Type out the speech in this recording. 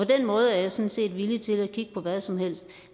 den måde er jeg sådan set villig til at kigge på hvad som helst